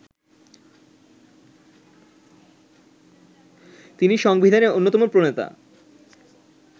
তিনি সংবিধানের অন্যতম প্রণেতা